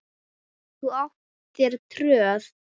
Þú átt þér tröð.